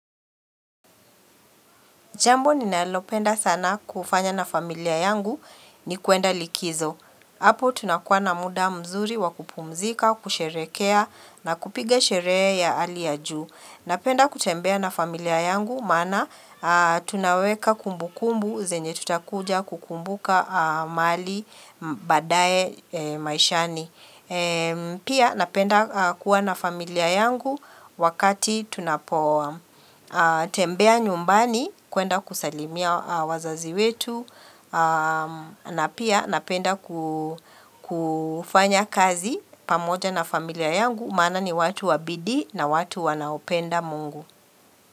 Jambo ni nalopenda sana kufanya na familia yangu ni kuenda likizo. Apo tunakuwa na muda mzuri wakupumzika, kusherehekea na kupiga sherehe ya ali ya juu. Napenda kutembea na familia yangu maana tunaweka kumbu kumbu zenye tutakuja kukumbuka mahali badaaye maishani. Pia napenda kuwa na familia yangu wakati tunapo. Tembea nyumbani kuenda kusalimia wazazi wetu na pia napenda kufanya kazi pamoja na familia yangu Maana ni watu wabidii na watu wanaopenda mungu.